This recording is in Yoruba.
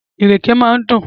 Ìrèké máa ń dùn.